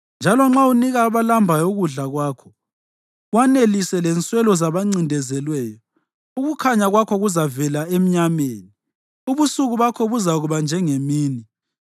njalo nxa unika abalambayo ukudla kwakho, wanelise lenswelo zabancindezelweyo, ukukhanya kwakho kuzavela emnyameni, ubusuku bakho buzakuba njengemini.